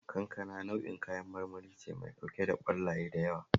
Kankana nau'in kayan marmari ce mai ɗauke da ƙwallaye da yawa